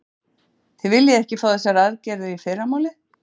Heimir: Þið viljið ekki fá þessar aðgerðir í fyrramálið?